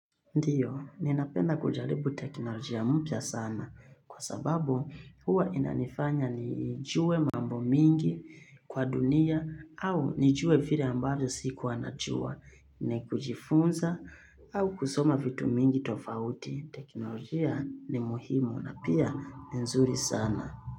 Ndiyo, ninapenda kujaribu teknolojia mpya sana kwa sababu huwa inanifanya nijue mambo mingi kwa dunia au nijue vile ambayo sikuwa najua ni kujifunza au kusoma vitu mingi tofauti. Teknolojia ni muhimu na pia ni nzuri sana.